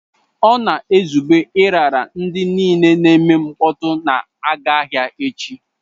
Ọ na-ezube ịrara ndị niile na-eme mkpọtụ na-aga ahịa echi.